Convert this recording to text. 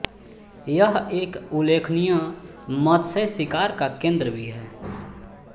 यह एक उल्लेखनीय मत्स्यशिकार का केन्द्र भी है